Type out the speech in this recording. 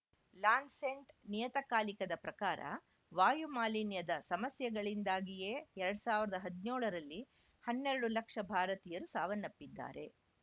Lancet ನಿಯತಕಾಲಿಕದ ಪ್ರಕಾರ ವಾಯು ಮಾಲಿನ್ಯದ ಸಮಸ್ಯೆಗಳಿಂದಾಗಿಯೇ ಎರಡ್ ಸಾವಿರದ ಹದ್ನ್ಯೋಳರಲ್ಲಿ ಹನ್ನೆರಡು ಲಕ್ಷ ಭಾರತೀಯರು ಸಾವನ್ನಪ್ಪಿದ್ದಾರೆ